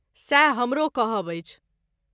सएह हमरो कहब अछि।